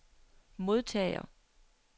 modtager